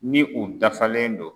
Ni u dafalen do.